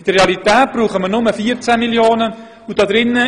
In der Realität brauchen wir nur 14 Mio. Franken.